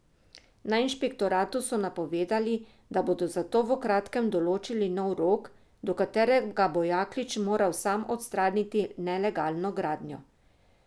Na inšpektoratu so napovedali, da bodo zato v kratkem določili nov rok, do katerega bo Jaklič moral sam odstraniti nelegalno gradnjo.